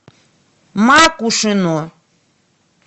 макушино